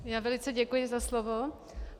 Já velice děkuji za slovo.